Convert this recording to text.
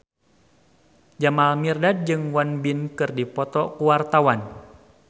Jamal Mirdad jeung Won Bin keur dipoto ku wartawan